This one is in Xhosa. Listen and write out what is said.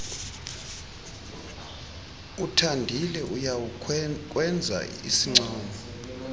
uthandile uyawukwenza isincomo